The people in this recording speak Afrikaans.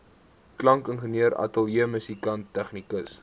klankingenieur ateljeemusikant tegnikus